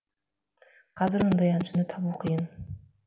қазір ондай әншіні табу қиын